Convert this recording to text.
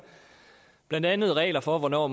blandt andet regler for hvornår